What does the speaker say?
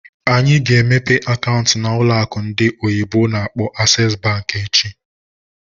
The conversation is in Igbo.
Anyị ga-emepe akaụntụ na ụlọ akụ ndị oyibo n'akpọ "Access Bank" echi.